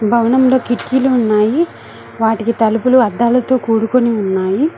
భవనంలో కిటికీలు ఉన్నాయి వాటికి తలుపులు అద్దాలతో కూడుకుని ఉన్నాయి